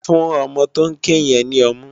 Fún òmò tó n ké yèn ni òmú